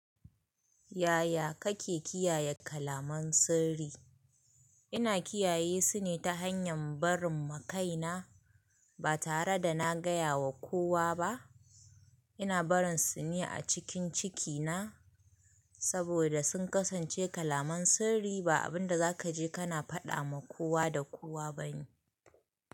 Yaya kake kiyaye kalaman sirri? Ina kiyaye su ne ta hanyar barin ma kaina ba tare da na gaya wa kowa ba. Ina barin su ne a cikin cikina saboda sun kasance kalaman sirri, ba abin da za ka je ka fada wa kowa da kowa ba ne.